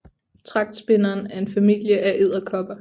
Tragtspinderen er en familie af edderkopper